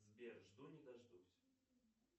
сбер жду не дождусь